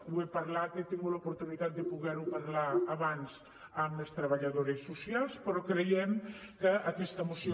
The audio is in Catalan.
ho he parlat he tingut l’oportunitat de poder ho parlar abans amb les treballadores socials però creiem que aquesta moció